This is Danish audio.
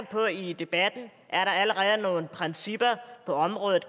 på i debatten er der allerede nogle principper på området